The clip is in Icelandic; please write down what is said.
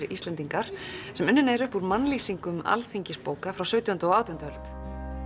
Íslendingar sem unnin er upp úr mannlýsingum alþingisbóka frá sautjándu og átjándu öld